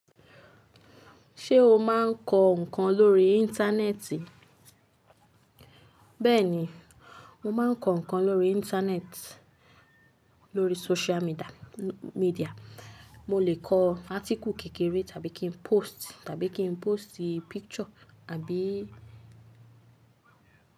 Ṣé o máa ń kọ ǹkan lórí Íńtánẹ́ẹ̀tì? Bẹ́ẹ̀ni, mo máa ń kọ ǹkan lórí internet, lórí social míḍà, media. Mo lè kọ á́tíkù kékeré tàbí kí n post, tàbí kí n póstì picture àbí.